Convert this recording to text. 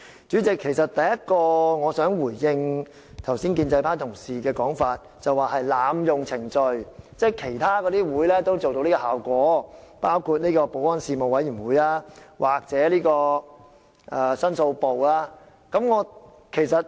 主席，首先，我想回應建制派同事剛才指這是濫用程序的說法，他們認為在其他會議討論，包括保安事務委員會或申訴部，也可以收到同樣效果。